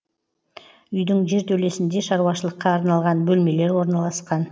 үйдің жертөлесінде шаруашылыққа арналған бөлмелер орналасқан